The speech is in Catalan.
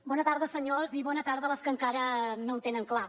bona tarda senyors i bona tarda les que encara no ho tenen clar